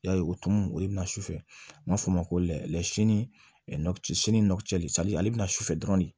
Ya ye o tumu o ye bɛna sufɛ an b'a fɔ o ma ko ale bɛna sufɛ dɔrɔn de